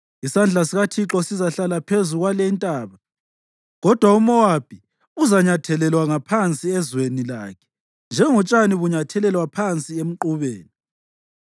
Isandla sikaThixo sizahlala phezu kwalintaba; kodwa uMowabi uzanyathelelwa ngaphansi ezweni lakhe njengotshani bunyathelelwa phansi emqubeni.